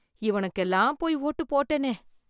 இவனுகெல்லாம் போய் வோட்டுப் போட்டேனே